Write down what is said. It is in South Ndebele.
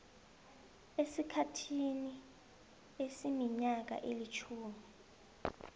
esikhathini esiminyaka elitjhumi